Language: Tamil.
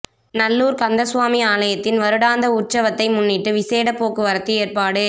நல்லூர் கந்தசுவாமி ஆலயத்தின் வருடாந்த உற்சவத்தை முன்னிட்டு விசேட போக்குவரத்து ஏற்பாடு